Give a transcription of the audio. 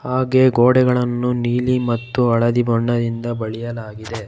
ಹಾಗೆ ಗೋಡೆಗಳನ್ನು ನೀಲಿ ಮತ್ತು ಹಳದಿ ಬಣ್ಣದಿಂದ ಬಳಿಯಲಾಗಿದೆ.